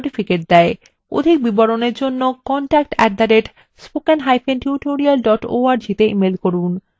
অধিক বিবরণের জন্য contact @spokentutorial org তে ইমেল করুন